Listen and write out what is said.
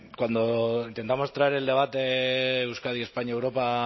cuando intentamos traer el debate euskadi españa europa